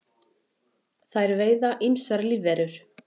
þær veiða ýmsar lífverur